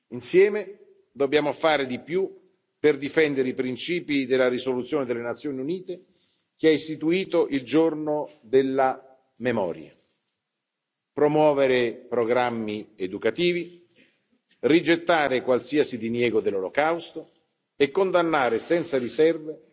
Insieme dobbiamo fare di più per difendere i principi della risoluzione delle Nazioni Unite che ha istituito il Giorno della Memoria promuovere programmi educativi, rigettare qualsiasi diniego dell'Olocausto e condannare senza riserve